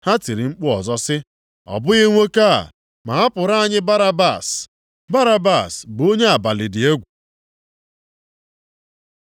Ha tiri mkpu ọzọ sị, “Ọ bụghị nwoke a, ma hapụrụ anyị Barabas.” Barabas bụ onye abalị dị egwu.